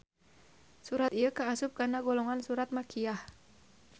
Surat ieu kaasup kana golongan surat makkiyah